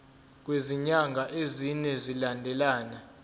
kwezinyanga ezine zilandelana